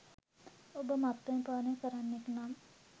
ඔබ මත්පැන් පානය කරන්නෙක් නම්